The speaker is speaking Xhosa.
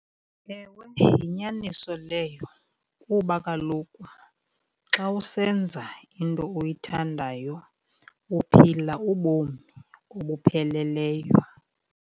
Ewe, yinyaniso leyo kuba kaloku xa usenza into oyithandayo uphila ubomi obupheleleyo.